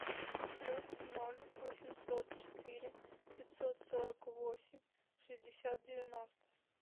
плюс ноль восемьсот четыре пятьсот сорок восемь шестьдесят девяносто